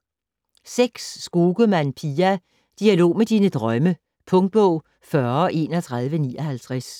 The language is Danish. Skogemann, Pia: Dialog med dine drømme Punktbog 403159